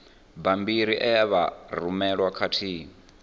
bammbiri e vha rumelwa khathihi